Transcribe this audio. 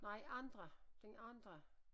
Nej andre den andre